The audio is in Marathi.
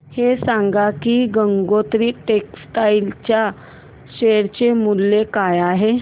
हे सांगा की गंगोत्री टेक्स्टाइल च्या शेअर चे मूल्य काय आहे